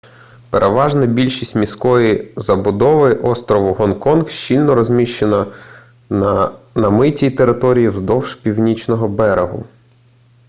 переважна більшість міської забудови острову гонконг щільно розміщена на намитій території вздовж північного берегу